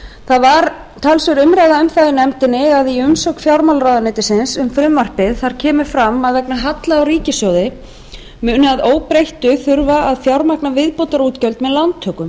það var talsverð umræða um það í nefndinni að í umsögn fjármálaráðuneytisins um frumvarpið kemur fram að enn halla á ríkissjóði halla á ríkissjóði muni að óbreyttu þurfa að fjármagna viðbótarútgjöld með lántökum